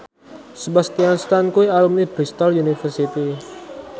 Sebastian Stan kuwi alumni Bristol university